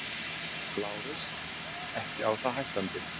LÁRUS: Ekki á það hættandi.